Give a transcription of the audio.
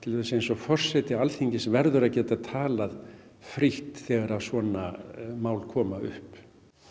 forseti Alþingis verður að geta talað frítt þegar svona mál koma upp